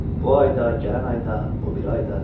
Bu ay da, gələn ay da, o biri ay da.